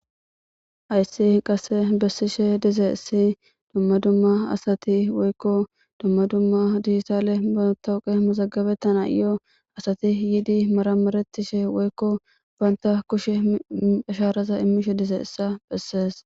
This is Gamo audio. Hayssi qase bessishe dizaysi dumma dumma asati woykko dumma dumma diyisale batowuqe mazagabetana iyoo asati yiidi maramarettishe woykko baynta kushe ashaaraza immishe dize issa bessees